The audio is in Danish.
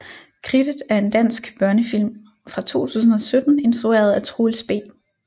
Kridtet er en dansk børnefilm fra 2017 instrueret af Troels B